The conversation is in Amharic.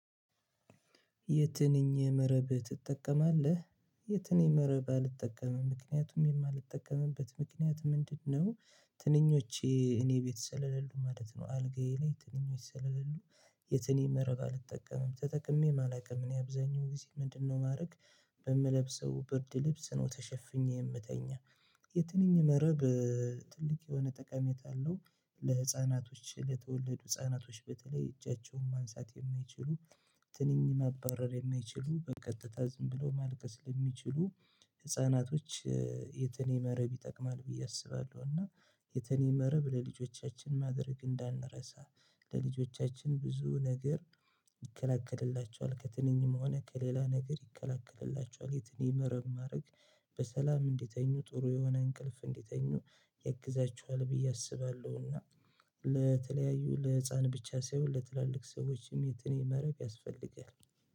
የትንኝ መረብ ትጠቀማለህ? የትንኝ መረብ አልጠቀምም ምክንያቱም የማልጠቀምበት ምክንያት ምንድነው? ትንኞቼ እኔ ቤት ስለሌሉ ማለት ነው አልጋዬ ላይ ትንኞች ስለሌሉ። የትንን መረብ አልጠቀምም ተጠቅሜ አላውቅም እኔ አብዛኛው ጊዜ ምንድነው ማድረግ? በምለብሰው ብርድ ልብስ ነው ተሸፍኜ የምተኛ። የትንኝ መረብ ትልቅ የሆነ ጠቃታ አለው። ለህፃናቶች ለተወለዱ ህፃናቶች በተለይ እጃቸውን ማንሳት የማይችሉ። ትንኝ ማባረር የማይችሉ በቀጥታ ዝም ብሎ ማልቀስ ለሚችሉ ህፃናቶች። የትንኝ መረብ ይጠቅማል ብዬ አስባለሁ። እና የትንኝ መረብ ለልጆቻችን ማድረግ እንዳንረሳ። ለልጆቻችን ብዙ ነገር። ይከላከልላቸዋል ከትንኝም ሆነ ከሌላ ነገር ይከለክልላቸዋል። የትንኝ መረብ ማድረግ በሰላም እንዲተኙ ጥሩ የሆነ እንቅልፍ እንዲተኙ ያግዛችኋል ብዬ አስባለሁና። ለተለያዩ ለህፃን ብቻ ሳይሆን ለትላልቅ ሰዎችም የትንኝ መረብ ያስፈልጋል።